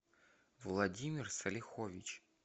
владимир салихович